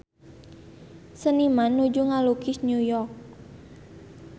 Seniman nuju ngalukis New York